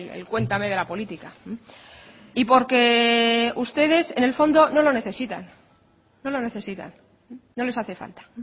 el cuéntame de la política y porque ustedes en el fondo no lo necesitan no lo necesitan no les hace falta